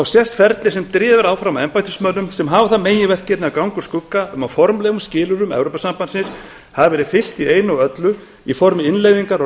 sést ferli sem er drifið áfram af embættismönnum sem hafa það meginverkefni að ganga úr skugga um að formlegum skilyrðum evrópusambandsins hafi verið fylgt í einu og öllu í formi innleiðingar á